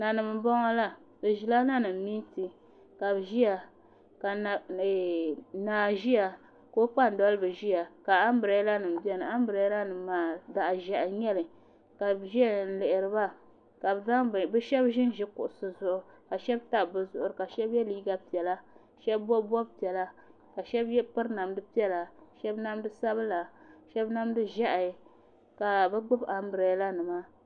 Nanim n boŋo la bi ʒila nanim miitin ka bi ʒiya ka naa ʒiya ka o kpambalibi ʒiya ka anbirɛla nim biɛni anbirɛla nim maa zaɣ ʒiɛhi n nyɛli ka bi ʒɛya n lihiriba ka shab ʒinʒi kuɣusi zuɣu ka shab tabi bi zuɣuri ka shab yɛ liiga piɛla ka shab bob bob piɛla ka shab piri namdi piɛla shab namdi sabila shab namdi ʒiɛhi ka bi gbubi anbirɛla nima